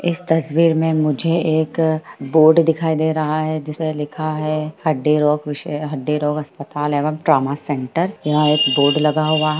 इस तस्वीर मे मुझे एक बोर्ड दिखाई दे रहा हैं जिसमे लिखा हैं हड्डी रोग विशेषज्ञ हड्डी रोग अस्पताल हैं एण्ड ड्रामा सेंटर यहाँ एक बोर्ड लगा हुआ--